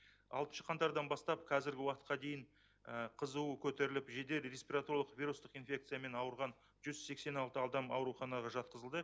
алтыншы қаңтардан бастап қазіргі уақытқа дейін қызуы көтеріліп жедел респираторлық вирустық инфекциямен ауырған жүз сексен алты адам ауруханаға жатқызылды